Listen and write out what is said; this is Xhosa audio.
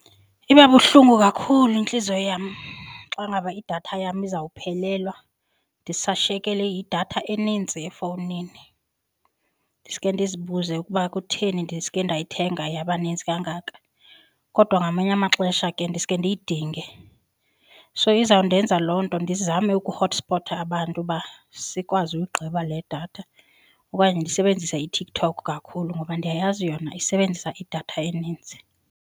Iba buhlungu kakhulu intliziyo yam xa ngaba idatha yam izawuphelelwa ndisashiyekelwe yidatha eninzi efowunini ndiske ndizibuze ukuba kutheni ndiske ndayithenga yaba nintsi kangaka. Kodwa ngamanye amaxesha ke ndiske ndiyidinge. So izawundenza loo nto ndizame ukuhotspota abantu uba sikwazi uyigqiba le datha okanye ndisebenzise iTikTok kakhulu ngoba ndiyayazi yona isebenzisa idatha eninzi.